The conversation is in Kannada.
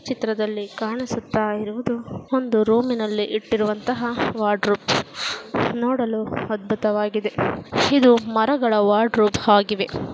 ಚಿತ್ರದಲ್ಲಿ ಕಾಣಿಸುತ್ತಾಯಿರುವುದು ಒಂದು ರೂಮಿನಲ್ಲಿ ಇಟ್ಟಿರುವಂತ ವರ್ಡ್ರೋಬ್ ನೋಡಲು ಅದ್ಬುತವಾಗಿದೆ ಇದು ಮರಗಳ ವರ್ಡ್ರೋಬ್ ಹಾಗಿವೆ.